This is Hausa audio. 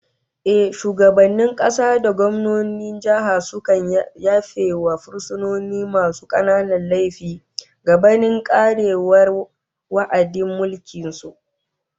Ehh, shugabannin kasa da gwamnonin jihohi sukan yafe wa fursunoni masu kananan laifuffuka gabanin karewar wa'adin mulkin su